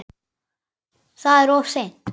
Það er of seint.